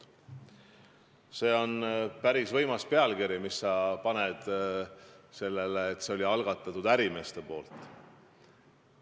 See oli päris võimas pealkiri, mis sa panid, et see oli ärimeeste algatatud.